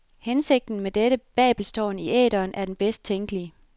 Hensigten med dette babelstårn i æteren er den bedst tænkelige.